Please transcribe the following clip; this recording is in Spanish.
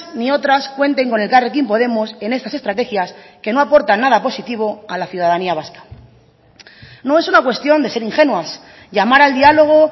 ni otras cuenten con elkarrekin podemos en estas estrategias que no aportan nada positivo a la ciudadanía vasca no es una cuestión de ser ingenuas llamar al diálogo